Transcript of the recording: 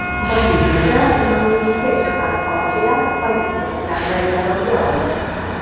Boliviyada namoyishga chiqqan konchilar politsiyachilarni garovga oldi.